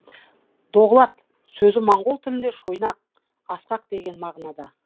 доғлат сөзі моңғол тілінде шойнақ ақсақ деген мағынада